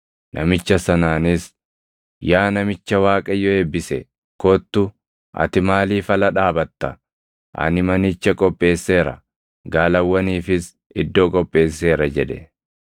Namicha sanaanis, “Yaa namicha Waaqayyo eebbise, kottu; ati maaliif ala dhaabatta? Ani manicha qopheesseera; gaalawwaniifis iddoo qopheesseera” jedhe.